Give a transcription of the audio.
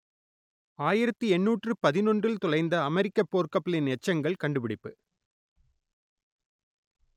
ஆயிரத்து எண்ணூற்று பதினொன்றில் தொலைந்த அமெரிக்கப் போர்க்கப்பலின் எச்சங்கள் கண்டுபிடிப்பு